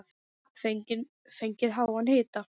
Fengið háan hita.